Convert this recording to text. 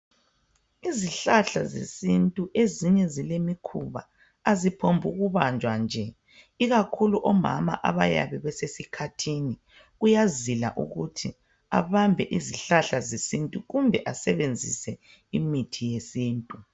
Izihlahla zesintu ezinye zilemikhuba aziphumbuku banjwa nje ikakhulu omama abayabe besesikhathini kuyazila ukuthi abambe izihlahla zesintu kumbe asebenzise imithi yesintu.